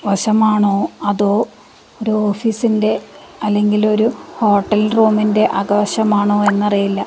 വശമാണോ അതോ ഒരു ഓഫീസിൻ്റെ അല്ലെങ്കിൽ ഒരു ഹോട്ടൽ റൂമിൻ്റെ അകവശമാണോ എന്നറിയില്ല.